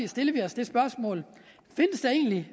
stiller vi os det spørgsmål findes der egentlig